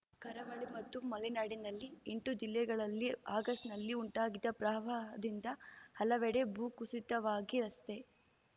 ಕರಾವಳಿ ಮತ್ತು ಮಲೆನಾಡಿನಲ್ಲಿ ಎಂಟು ಜಿಲ್ಲೆಗಳಲ್ಲಿ ಆಗಸ್ಟ್‌ನಲ್ಲಿ ಉಂಟಾಗಿದ್ದ ಪ್ರವಾಹದಿಂದ ಹಲವೆಡೆ ಭೂಕುಸಿತವಾಗಿ ರಸ್ತೆ